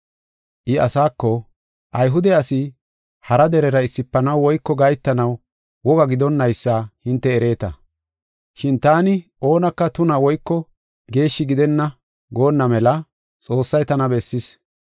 I asaako, “Ayhude asi hara derera issifanaw woyko gahetanaw woga gidonnaysa hinte ereeta. Shin taani oonaka tuna woyko geeshshi gidenna goonna mela Xoossay tana bessis.